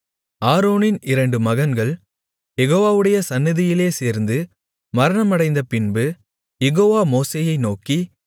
ஆரோனின் இரண்டு மகன்கள் யெகோவாவுடைய சந்நிதியிலே சேர்ந்து மரணமடைந்தபின்பு யெகோவா மோசேயை நோக்கி